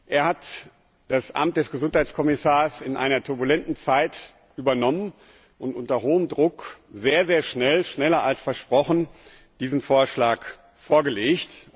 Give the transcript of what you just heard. Er hat das Amt des Gesundheitskommissars in einer turbulenten Zeit übernommen und unter hohem Druck sehr schnell schneller als versprochen diesen Vorschlag vorgelegt.